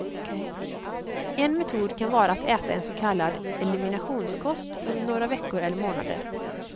En metod kan vara att äta en så kallad eliminationskost under några veckor eller månader.